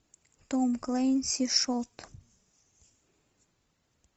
том клэнси шот